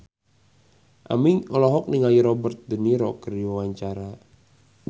Aming olohok ningali Robert de Niro keur diwawancara